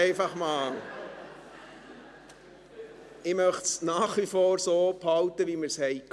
Ich möchte es nach wie vor so halten, wie bisher.